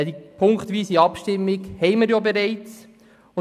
Eine punktweise Abstimmung steht ja bereits fest.